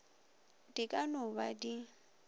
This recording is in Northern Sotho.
di ka no ba di